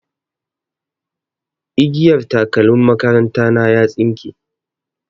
Igiyar takalmin makaranta na ya tsinke.